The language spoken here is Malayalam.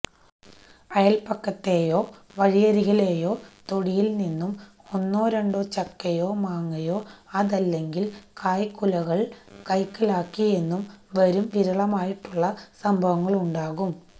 അയപക്കത്തെയോവഴിയരികിലോ തൊടിയില് നിന്നും ഒന്നോ രണ്ടോ ചക്കയോ മാങ്ങയോ അതല്ലെങ്കില്കായ്ക്കുലകള് കൈക്കലാക്കിയെന്നും വരും വിരളമായിട്ടുള്ള സംഭവങ്ങളുണ്ടാകാം